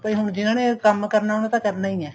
ਭਾਈ ਹੁਣ ਜਿਹਨਾ ਨੇ ਕੰਮ ਕਰਨਾ ਉਹ ਤਾਂ ਕਰਨਾ ਹੀ ਹੈ